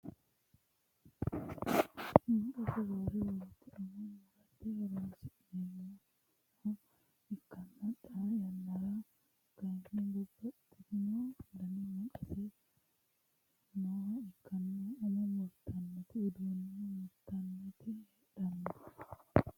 maqase roore woyiite umo murate horonsi'neemoha ikkanna xaa yannara kayiinni babbaxitino dani maqase nooha ikkanna umo murtannoti, uduunne murtannoti heedhanno.